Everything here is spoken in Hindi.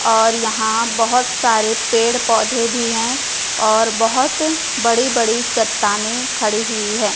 और यहाॅं बहोत सारे पेड़ पौधे भी हैं और बहोत बड़ी बड़ी चट्टानें खड़ी हुई हैं।